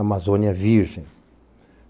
a Amazônia Virgem.